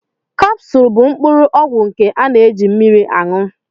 Kapsul bụ mkpụrụ ọgwụ nke a na-eji mmiri añụ